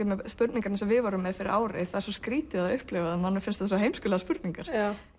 með spurningar eins og við vorum með fyrir ári það er svo skrítið að upplifa það manni finnst það svo heimskulegar spurningar